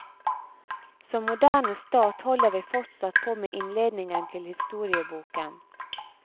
Som moderne stat holder vi fortsatt på med innledningen til historieboken.